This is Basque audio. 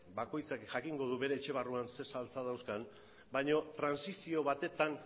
bakoitzak jakingo du bere etxe barruan zein saltsa dauzkan baino trantsizio batetan